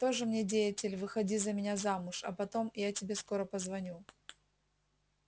тоже мне деятель выходи за меня замуж а потом я тебе скоро позвоню